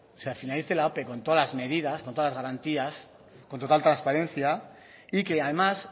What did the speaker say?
con todas las medidas con todas las garantías con total transparencia y que además